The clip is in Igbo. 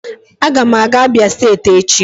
Aga m aga Abia steeti echi